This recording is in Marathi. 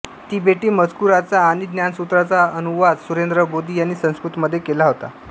तिबेटी मजकुराचा आणि ज्ञानसूत्राचा अनुवाद सुरेन्द्रबोधी यांनी संस्कृतमध्ये केला होता